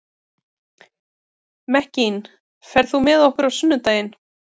Mekkin, ferð þú með okkur á sunnudaginn?